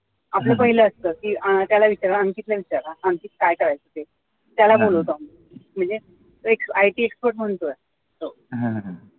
ते पाहिलं असत की त्याला विचारा अंकित ला विचारा अंकित काय करायचं ते त्याला बोलवतो आम्ही म्हणजे एक it expert म्हणून तो आहे